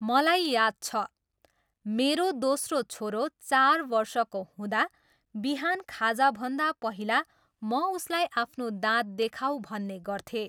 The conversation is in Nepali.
मलाई याद छ, मेरो दोस्रो छोरो चार वर्षको हुँदा बिहान खाजाभन्दा पहिला म उसलाई आफ्नो दाँत देखाऊ भन्ने गर्थेँ।